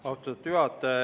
Austatud juhataja!